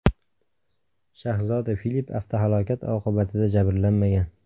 Shahzoda Filip avtohalokat oqibatida jabrlanmagan.